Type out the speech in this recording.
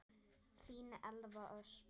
Þín Elva Ösp.